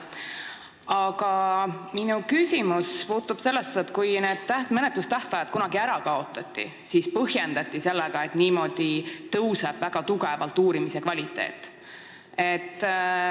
Aga mu küsimus on selle kohta, et kui menetlustähtajad kunagi ära kaotati, siis põhjendati seda sellega, et nii tõuseb väga tugevalt uurimise kvaliteet.